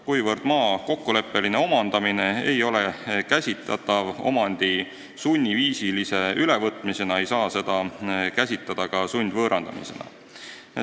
Kuna maa kokkuleppeline omandamine ei ole käsitatav omandi sunniviisilise ülevõtmisena, ei saa seda käsitada ka sundvõõrandamisena.